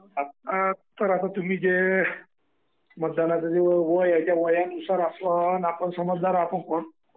तर आता तुम्ही जे मतदानाचे जे वय आहे त्या वयानुसार आपण समजदार आहोत.